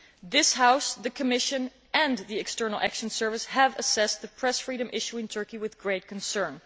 This House, the Commission and the External Action Service have assessed the press freedom issue in Turkey with great concern.